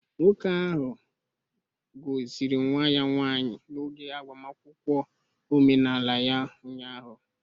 Nwoke ahụ gọziri nwa ya nwanyị n'oge agbamakwụkwọ omenala ya ụnyahụ